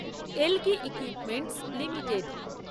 algae equipments limited